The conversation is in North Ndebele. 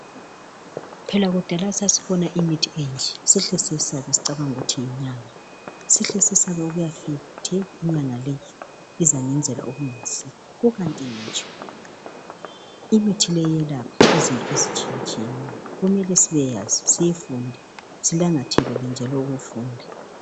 Phela kudala sasibona imithi enje sihle siyesabe sicabanga ukuthi yinyanga, sihle siyesabe ukuyafika sithi inyanga leyi izangenzela okungayisikho ikanti ngitsho imithi leyi iyelapha, kumele siyazi siyifunde silangazelele njalo ukufunda.